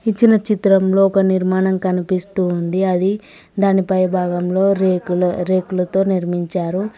ఇచ్చిన చిత్రంలో ఒక నిర్మాణం కనిపిస్తూ ఉంది అది దాని పై భాగంలో రేకులు రేకులతో నిర్మించారు.